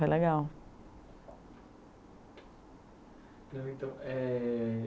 Foi legal. é...